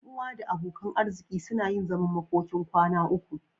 Ƴan uwa da abokan arziki suna yin zaman makokin kwana uku.